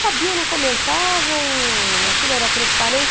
Sabiam, não comentavam, aquilo era transparente.